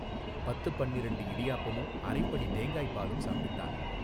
பத்துப் பன்னிரண்டு இடியாப்பமும் அரைப்படி தேங்காய்ப் பாலும் சாப்பிட்டான்.